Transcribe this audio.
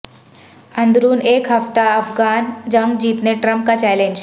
اندرون ایک ہفتہ افغان جنگ جیتنے ٹرمپ کا چیلنج